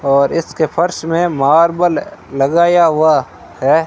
और इसके फर्श में मार्बल लगाया हुआ है।